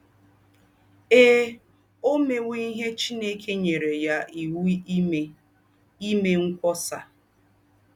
Ee, ó méwò íhé Chineke nyérè yá íwú ímè — ímè ńkwọ́sà!